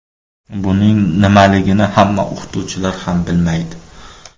Buning nimaligini hamma o‘qituvchilar ham bilmaydi.